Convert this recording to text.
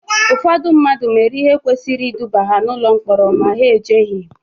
Ụfọdụ mmadụ mere ihe kwesịrị iduba ha n'ụlọ mkpọrọ ma ha ejeghị